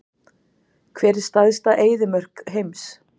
Hver er stærsta eyðimörk heims?